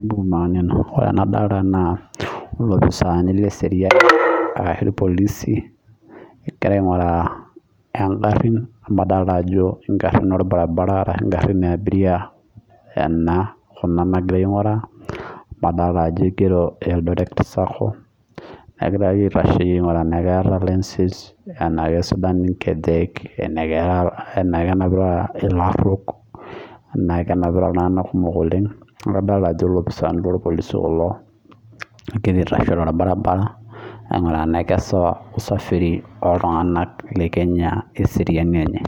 Ore enadolita naa loopisani leseriani ashu irpolisi egira aing'uraa egarin orbaribara ashu egarin ee abiria ena Kuna nagirai aing'uraa amu adolita Ajo egirii eldoret sacco neeku egirai aitasheyie aing'ura tenaa keeta license ena kisidain enkejek enaa kenapita elaruok enakenapita iltung'ana kumok oleng amu adolita Ajo loopisani loo irpolisi kulo kegira aitasho torbaribara aing'uraa Tena kisawa usafiri oltung'ani lee kenya wee seriani enye